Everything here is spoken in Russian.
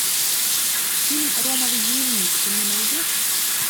фильм ромовый дневник ты мне найдешь